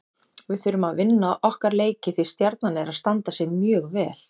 Við þurfum að vinna okkar leiki því Stjarnan er að standa sig mjög vel.